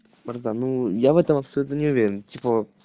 парда ну я в этом абсолютно не уверен типа